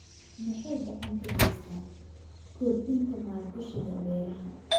Waxay gacan ka geystaan ??kordhinta maalgashiga beeraha.